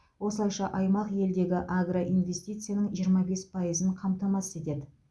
осылайша аймақ елдегі агроинвестицияның жиырма бес пайызын қамтамасыз етеді